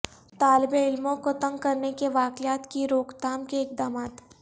طالب علموں کو تنگ کرنے کے واقعات کی روک تھام کے اقدامات